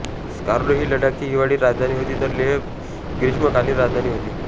स्कार्डो ही लडाखची हिवाळी राजधानी होती तर लेह ग्रीष्मकालीन राजधानी होती